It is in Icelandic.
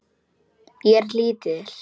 Ég er lítil.